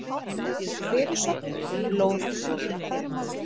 Og fyrirsögn: Blóðfljótið.